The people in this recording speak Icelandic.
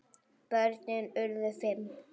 Börnin urðu fimm.